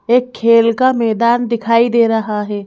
एक खेल का मैदान दिखाई दे रहा है।